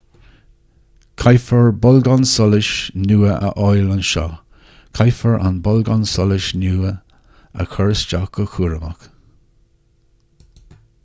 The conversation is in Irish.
caithfear bolgán solais nua a fháil ansin caithfear an bolgán solais nua a chur isteach go cúramach